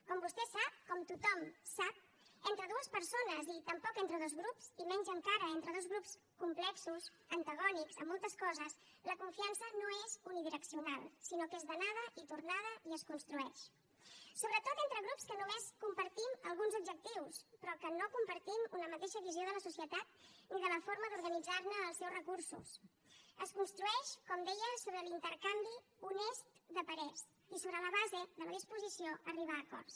com vostè sap com tothom sap entre dues persones i tampoc entre dos grups i menys encara entre dos grups complexos antagònics en moltes coses la confiança no és unidireccional sinó que és d’anada i tornada i es construeix sobretot entre grups que només compartim alguns objectius però que no compartim una mateixa visió de la societat ni de la forma d’organitzar ne els seus recursos es construeix com deia sobre l’intercanvi honest de parers i sobre la base de la disposició a arribar a acords